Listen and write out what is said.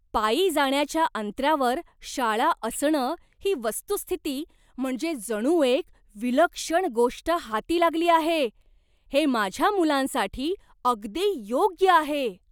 पायी जाण्याच्या अंतरावर शाळा असणं ही वस्तुस्थिती म्हणजे जणू एक विलक्षण गोष्ट हाती लागली आहे. हे माझ्या मुलांसाठी अगदी योग्य आहे.